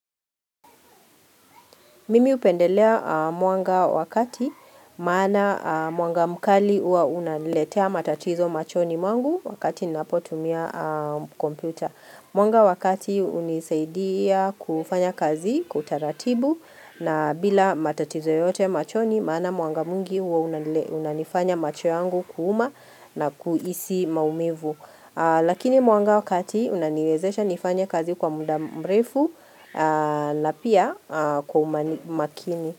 Mimi upendelea mwanga wakati maana mwanga mkali uwa unaniletea matatizo machoni mwangu wakati ninapotumia kompyuta. Mwanga wakati unisaidia kufanya kazi kwa utaratibu na bila matatizo yote machoni maana mwanga mwingi huwa unanifanya macho yangu kuuma na kuhisi maumivu. Lakini mwanga wa kati unaniwezesha nifanya kazi kwa muda mrefu na pia kwa umakini.